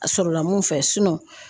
A sɔrɔla mun fɛ